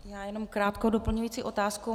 Já jenom krátkou doplňující otázku.